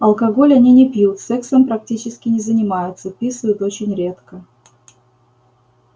алкоголь они не пьют сексом практически не занимаются писают очень редко